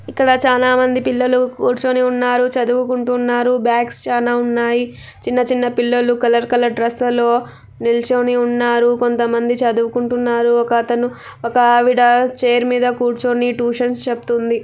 ఇక్కడ చానా మంది పిల్లలు కూర్చుని ఉన్నారు చదువుకుంటున్నారు బ్యాగ్స్ చానా ఉన్నాయి చిన్న చిన్న పిల్లలు కలర్ కలర్ డ్రెస్సుల్లో నిల్చొని ఉన్నారు కొంత మంది చదువుకుంటున్నారు ఒకతను ఒకావిడ చైర్ మీద కూర్చుని ట్యూషన్స్ చెప్తుంది.